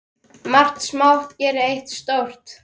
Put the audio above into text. Margt smátt gerir eitt stórt!